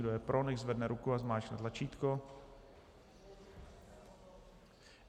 Kdo je pro, nechť zvedne ruku a zmáčkne tlačítko.